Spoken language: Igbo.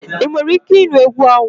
Ị nwere ike ịnụ egwu ahụ?